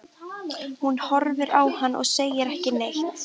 Hún horfir á hann og segir ekki neitt.